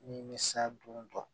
Nimisa dun ta ye